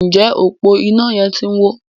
Njé ọpo iná yén tí ń wọ?